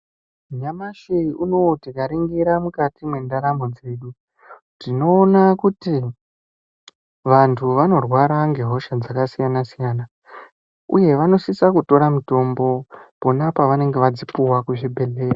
Nyamashi unowu tikaringira mukati mwendaramo dzedu , tinoona kuti ,vantu vanorwara ngehosha dzakasiyana-siyana uye vanosisa kutora mitombo pona pavanenge vadzipuwa kuzvibhedhleya.